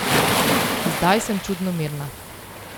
Zdaj sem čudno mirna.